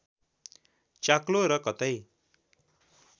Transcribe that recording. चाक्लो र कतै